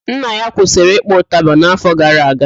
Nna ya kwụsịrị ịkpọ ụtaba n'afọ gara aga